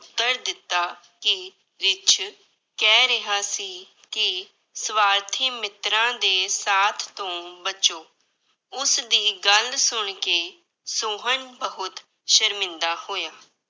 ਉੱਤਰ ਦਿੱਤਾ ਕਿ ਰਿੱਛ ਕਹਿ ਰਿਹਾ ਸੀ ਕਿ ਸਵਾਰਥੀ ਮਿੱਤਰਾਂ ਦੇ ਸਾਥ ਤੋਂ ਬਚੋ, ਉਸਦੀ ਗੱਲ ਸੁਣਕੇ ਸੋਹਨ ਬਹੁਤ ਸ਼ਰਮਿੰਦਾ ਹੋਇਆ।